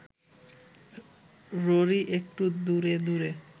ররী একটু দূরে দূরে